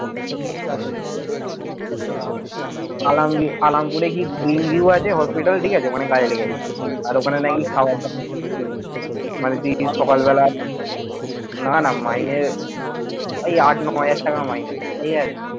আলাম আলাম্পুরে কি আছে hospital ওখানে কাজে লেগে গেছে আর ওখানে নাকি মানে তুই সকালবেলা, না না মাইনে এই আট, নয় হাজার টাকা মাইনে ঠিকাছে।